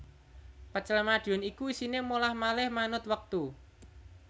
Pecel Madiun iku isine molah malih manut wektu